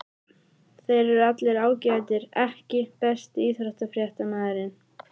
Þeir eru allir ágætir EKKI besti íþróttafréttamaðurinn?